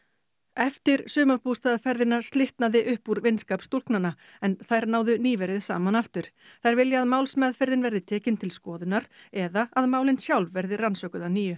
eftir slitnaði upp úr vinskap stúlknanna en þær náðu nýverið saman aftur þær vilja að málsmeðferðin verði tekin til skoðunar eða að málin sjálf verði rannsökuð að nýju